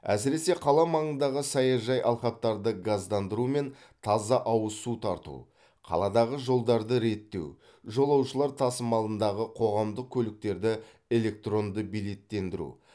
әсіресе қала маңындағы саяжай алқаптарды газдандыру мен таза ауыз су тарту қаладағы жолдарды реттеу жолаушылар тасымалындағы қоғамдық көліктерді электронды билеттендіру